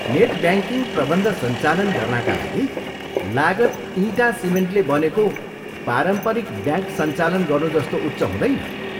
Net banking प्रबन्ध सञ्चालन गर्नाका लागि लागत इँटा सिमेन्टले बनेको पारम्परिक ब्याङ्क सञ्चालन गर्नुजस्तो उच्च हुँदैन।